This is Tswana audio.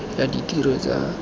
ya ditiro tsa ka gale